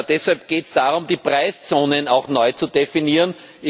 Deshalb geht es darum, die Preiszonen auch neu zu definieren.